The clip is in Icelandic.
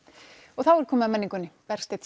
og þá er komið að menningunni Bergsteinn